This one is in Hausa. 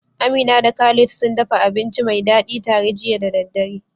Amina da Khalid sun dafa abinci mai dadi tare jiya da daddare.